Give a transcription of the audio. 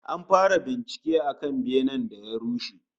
An fara bincike akan benen da ya rushe